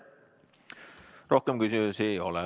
Rohkem küsimusi ei ole.